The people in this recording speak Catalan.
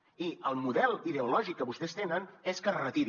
i el model ideològic que vostès tenen és que es retiri